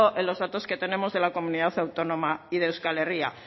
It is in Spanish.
en los datos que tenemos de la comunidad autónoma y de euskal herria